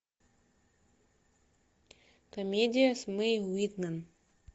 комедия с мэй уитман